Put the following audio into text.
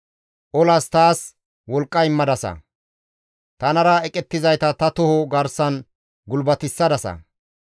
Olas taas wolqqa immadasa; tanara eqettizayta ta toho garsan ne gulbatissadasa.